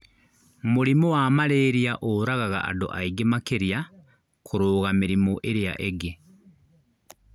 Mũrimũ wa malaria ũũragaga andũ aingĩ makĩria kũrũga mĩrimũ ĩrĩa ungĩ